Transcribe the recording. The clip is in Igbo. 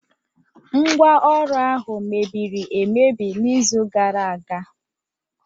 Ngwá Ọrụ ahụ mebiri emebi n'izu gara aga.